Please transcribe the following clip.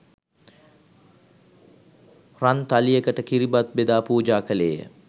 රන්තලියකට කිරිබත් බෙදා පූජා කළේය.